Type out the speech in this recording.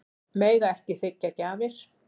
Mega ekki þiggja gjafir